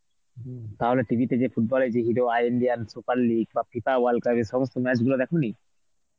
হম, তাহলে TV তে যে football এর যে video hero Indian super league বা FIFA world cup এ সমস্ত match গুলো দেখনি?